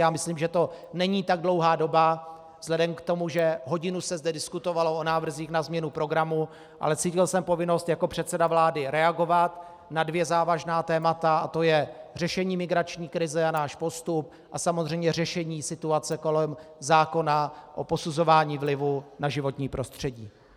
Já myslím, že to není tak dlouhá doba vzhledem k tomu, že hodinu se zde diskutovalo o návrzích na změnu programu, ale cítil jsem povinnost jako předseda vlády reagovat na dvě závažná témata, a to je řešení migrační krize a náš postup a samozřejmě řešení situace kolem zákona o posuzování vlivů na životní prostředí.